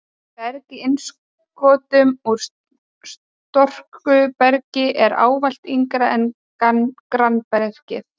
Berg í innskotum úr storkubergi er og ávallt yngra en grannbergið.